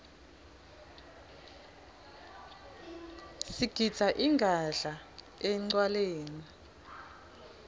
sigidza ingadla encwaleni